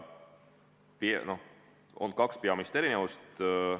On kaks peamist erinevust.